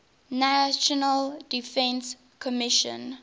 national defense commission